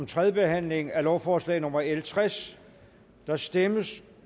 tredje behandling af lovforslag nummer l tres der stemmes